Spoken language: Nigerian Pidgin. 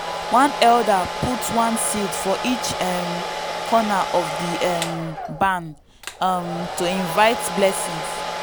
one elder put one seed for each um corner of di um barn um to invite blessings.